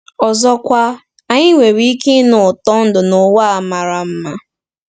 Ọzọkwa, anyị nwere ike ịnụ ụtọ ndụ n’ụwa a mara mma.